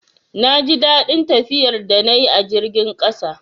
Na ji daɗin tafiyar da na yi a jirgin ƙasa